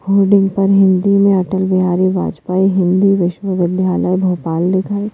hoarding पर हिंदी में अटल बिहारी वाजपेई हिंदी विश्वविद्यालय भोपाल लिखा--